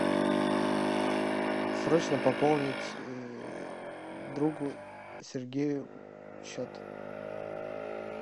срочно пополнить другу сергею счет